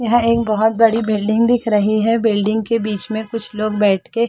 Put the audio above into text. यहाँ एक बहुत बड़ी बिल्डिंग दिख रही है बिल्डिंग के बीच में कुछ लोग बैठ के --